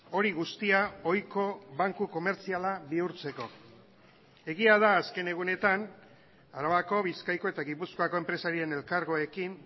hori guztia ohiko banku komertziala bihurtzeko egia da azken egunetan arabako bizkaiko eta gipuzkoako enpresarien elkargoekin